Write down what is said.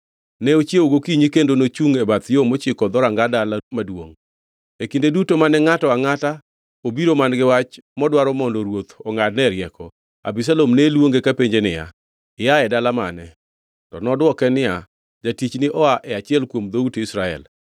Ne ochiewo gokinyi kendo nochungʼ e bath yo mochiko dhoranga dala maduongʼ. E kinde duto mane ngʼato angʼata obiro man-gi wach modwaro mondo ruoth ongʼadnee rieko, Abisalom ne luonge kapenje niya, “Ia e dala mane?” To nodwoke niya, “Jatichni oa e achiel kuom dhout Israel.”